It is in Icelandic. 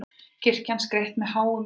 Kirkjan skreytt með háum trjám